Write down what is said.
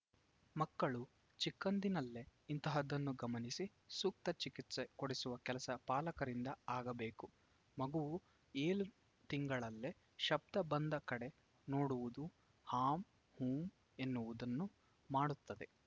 ಮಕ್ಕಳು ಚಿಕ್ಕಂದಿನಲ್ಲೇ ಇಂತಹದ್ದನ್ನು ಗಮನಿಸಿ ಸೂಕ್ತ ಚಿಕಿತ್ಸೆ ಕೊಡಿಸುವ ಕೆಲಸ ಪಾಲಕರಿಂದ ಆಗಬೇಕು ಮಗುವು ಏಳು ತಿಂಗಳಲ್ಲೇ ಶಬ್ಧ ಬಂದ ಕಡೆ ನೋಡುವುದು ಹಾಂ ಹೂಂ ಎನ್ನುವುದನ್ನು ಮಾಡುತ್ತದೆ